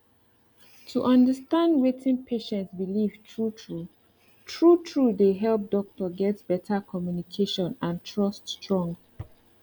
to understand wetin patient believe true true true true dey help doctor get better communication and trust strong